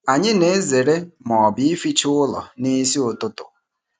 Anyị na-ezere ịza ma ọ bụ ịficha ụlọ n'isi ụtụtụ.